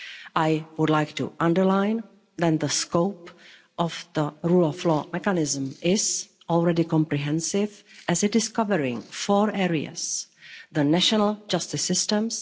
I would like to underline, then, that the scope of the rule of law mechanism is already comprehensive, as it is covering four areas the national justice systems